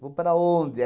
Vou para onde?